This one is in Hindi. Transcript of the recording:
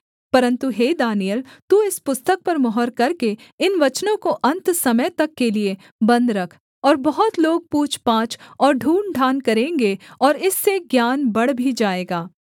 परन्तु हे दानिय्येल तू इस पुस्तक पर मुहर करके इन वचनों को अन्त समय तक के लिये बन्द रख और बहुत लोग पूछपाछ और ढूँढ़ढाँढ़ करेंगे और इससे ज्ञान बढ़ भी जाएगा